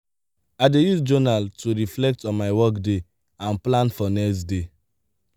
i dey use journal to reflect on my workday and plan for next day.